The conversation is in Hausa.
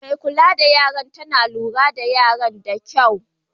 Mai kulla da yaran tana lura da yaran da kyau.